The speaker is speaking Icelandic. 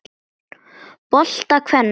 bolta kvenna.